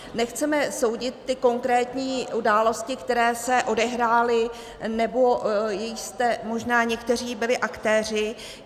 Nechceme soudit ty konkrétní události, které se odehrály nebo jichž jste možná někteří byli aktéři.